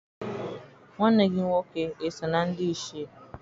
Nwanne gị nwoke eso na ndị Ichie?